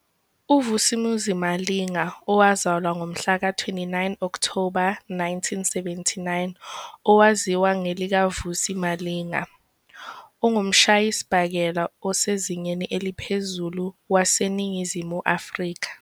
UVus'Umuzi Malinga, owazalwa ngomhlaka 29 Okthoba 1979, owaziwa ngelikaVusi Malinga, ungumshayisibhakela osezingeni eliphezulu waseNingizimu Afrika.